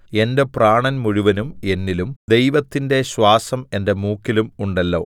എന്റെ പ്രാണൻ മുഴുവനും എന്നിലും ദൈവത്തിന്റെ ശ്വാസം എന്റെ മൂക്കിലും ഉണ്ടല്ലോ